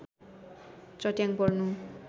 चट्याङ पर्नु